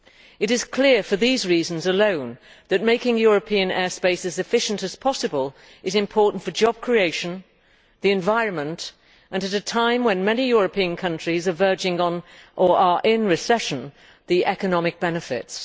It is clear for these reasons alone that making European air space as efficient as possible is important for job creation, the environment and at a time when many European countries are verging on or are in recession economic benefits.